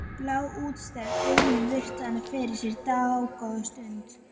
Blá, útstæð augun virtu hana fyrir sér dágóða stund.